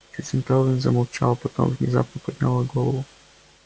сьюзен кэлвин замолчала потом внезапно подняла голову